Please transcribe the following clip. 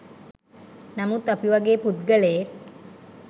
නමුත් අපි වගේ පුද්ගලයෙක්